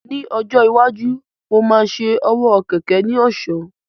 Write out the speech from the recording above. Ní ọjọ́ iwájú, mo máa ṣe owó kẹ̀kẹ́ ní ọ̀ṣọ́